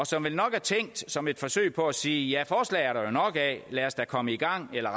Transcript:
som vel nok er tænkt som et forsøg på at sige at forslag er der nok af lad os da komme i gang eller